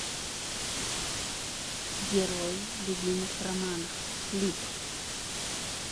герои любимых романов клип